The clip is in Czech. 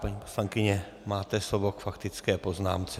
Paní poslankyně, máte slovo k faktické poznámce.